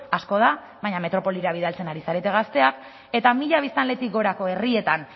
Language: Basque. asko da baina metropolira bidaltzen ari zarete gazteak eta mila biztanletik gorako herrietan